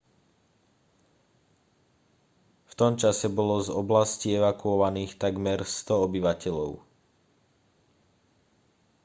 v tom čase bolo z oblasti evakuovaných takmer 100 obyvateľov